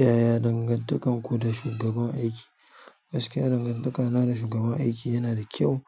Yaya dangantakarku da shugaban aiki? Gaskiya dangantakana da shugaban aiki yana da kyau